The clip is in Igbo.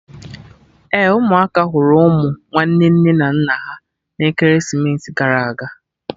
Ee, ụmụaka hụrụ ụmụ nwanne nne na nna ha na ekeresimesi gara aga